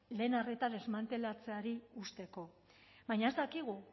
lehen arreta desmantelatzeari uzteko baina ez dakigu